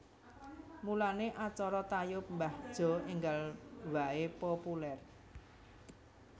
Mulane acara tayub mbah Jo enggal bae populer